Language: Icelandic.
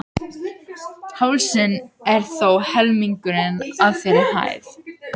Hálsinn er þó helmingurinn af þeirri hæð.